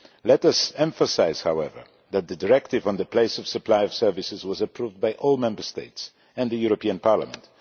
Let us emphasise however that the Directive on the Place of supply of services was approved by all Member States and this Parliament.